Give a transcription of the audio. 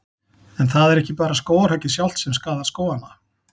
En það er ekki bara skógarhöggið sjálft sem skaðar skógana.